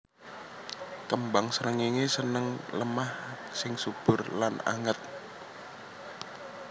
Kembang srengéngé seneng lemah sing subur lan anget